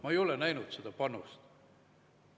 Ma ei ole näinud seda panust.